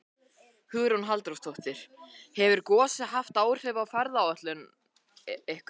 Hugrún Halldórsdóttir: Hefur gosið haft áhrif á ferðaáætlun ykkur?